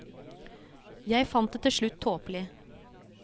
Jeg fant det til slutt tåpelig.